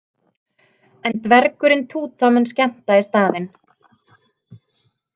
En dvergurinn Túta mun skemmta í staðinn.